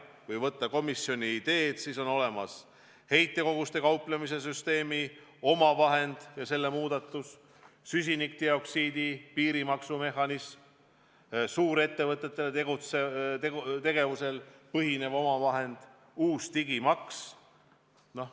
Kui võtta ette komisjoni ideed, siis näeme, et on olemas heitkogustega kauplemise süsteemi omavahend ja selle muudatus, süsinikdioksiidi piirimaksu mehhanism, suurettevõtete tegevusel põhinev omavahend ning uus digimaks.